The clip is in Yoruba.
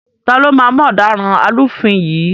Taló máa mú ọ̀daràn alúfin yìí?